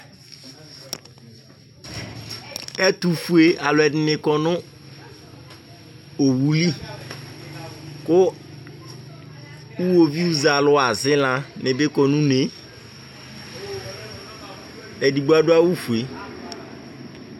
Ɛtufue aluedini kɔ nu owuli Ku iɣovi zɛ alu asila ni bi kɔ nu une edigbo adu awu ɔfue